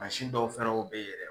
dɔw fɛ yɛrɛ be yen yɔrɔ